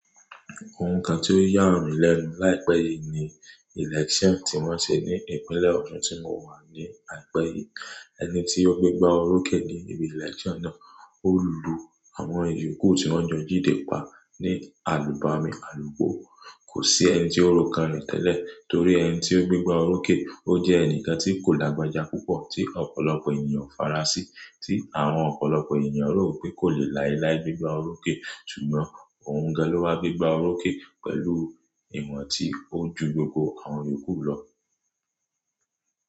Ohun kan tí ó yà mí lẹ́nu láìpẹ́ yìí ni election tí wọ́n ṣe ní ìpínlẹ̀ Ọ̀ṣun tí mo wà ní àìpẹ́ yìí. Ẹni tí ó gbégbá olóké ní ibi election náà ó lù àwọn ìjókòó tí wọ́n jọ jíde pa ní àlúgbàmi, àlugbò. Kò sí ẹni tí ó ro kan rẹ̀ tẹ́lẹ̀ torí ẹni tí ó gbégbá olóké, ó jẹ́ ẹnìkan tí kò lágbája púpọ̀ tí ọ̀pọ̀lọpọ̀ ènìyàn o fara sí, tí àwọn ọ̀pọ̀lọpọ̀ ènìyàn rò pé kò lè láilái gbégbá oloké. Ṣùgbọ́n òun gan lọ wá gbégbá oloké pẹ̀lú ìwọ̀n tí ó ju gbogbo àwọn ìyóku lọ.